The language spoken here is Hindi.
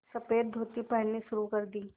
सफ़ेद धोती पहननी शुरू कर दी